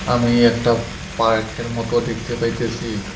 আমি একটা পার্কের মতো দেখতে পাইতেসি।